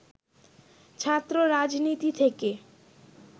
ছাত্ররাজনীতি থেকে